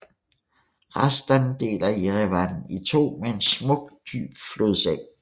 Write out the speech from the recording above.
Hrazdan deler Jerevan i to med en smuk dyb flodseng